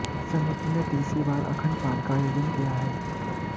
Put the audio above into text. समिति ने तीसरी बार अखंड पाठ का आयोजन किया है